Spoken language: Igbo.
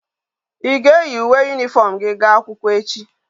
I ga eyi uwe uniform gi ga akwukwo echi?